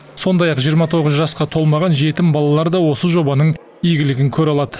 сондай ақ жиырма тоғыз жасқа толмаған жетім балалар да осы жобаның игілігін көре алады